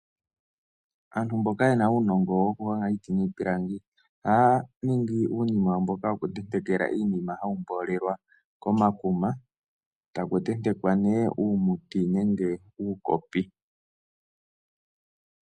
Antu mboka yena uunongo wo kuhonga iiti niipilangi, ohaya ningi uunima mboka wo kutentekela iinima, hawu mboolelwa komakuma, taku tentekwa nee uumuti nenge uukopi.